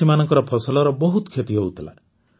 ଚାଷୀମାନଙ୍କ ଫସଲର ବହୁତ କ୍ଷତି ହେଉଥିଲା